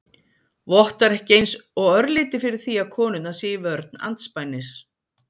Vottar ekki eins og örlítið fyrir því að konurnar séu í vörn andspænis